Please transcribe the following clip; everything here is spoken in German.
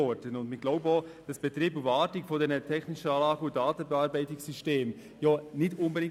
Aus unserer Sicht sind nicht unbedingt Betrieb und Wartung der technischen Anlagen und Datenverarbeitungssysteme ein Problem.